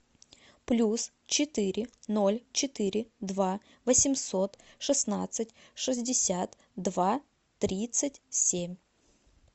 плюс четыре ноль четыре два восемьсот шестнадцать шестьдесят два тридцать семь